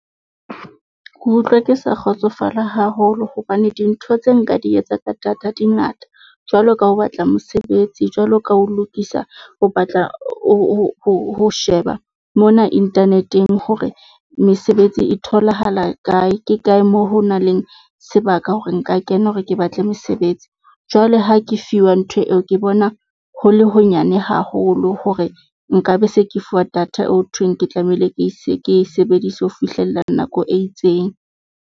Ke utlwe ke sa kgotsofala haholo hobane dintho tse nka di etsa ka data di ngata. Jwalo ka ho batla mosebetsi, jwalo ka ho lokisa, ho batla ho sheba mona internet-eng hore mesebetsi e tholahala kae. Ke kae moo ho nang le sebaka hore nka kena hore ke batle mesebetsi. Jwale ha ke fiwa ntho eo ke bona ho le ho nyane haholo hore nka be se ke fuwa data eo ho thweng, ke tlamehile ke se ke e sebedise ho fihlella nako e itseng.